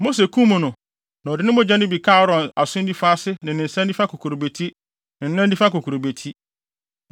Mose kum no na ɔde mogya no bi kaa Aaron aso nifa ase ne ne nsa nifa kokurobeti ne ne nan nifa kokurobeti.